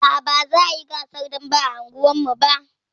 Aa, ba za a yi gasar dambe a unguwarmu ba